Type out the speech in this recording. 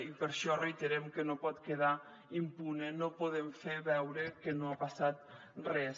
i per això reiterem que no pot quedar impune no podem fer veure que no ha passat res